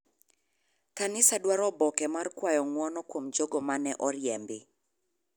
Kanisa dwaro oboke mar kwayo ng'uono kuom jogo mane oriembi.